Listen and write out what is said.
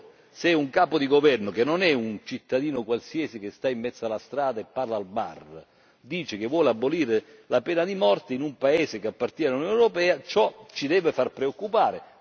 Ora, se un capo di governo, che non è un cittadino qualsiasi che sta in mezzo alla strada e parla al bar, dice che vuole abolire la pena di morte in un paese che appartiene all'Unione europea, ciò ci deve far preoccupare.